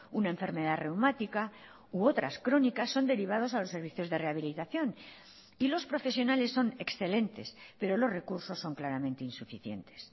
una enfermedad reumática u otras crónicas son derivados a los servicios de rehabilitación y los profesionales son excelentes pero los recursos son claramente insuficientes